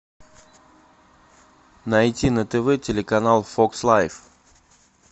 найти на тв телеканал фокс лайф